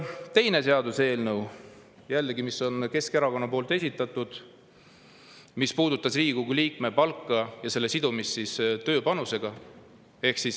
Teine seaduseelnõu, mis jällegi on Keskerakonna poolt esitatud, puudutas Riigikogu liikme palka ja selle sidumist tema tööpanusega.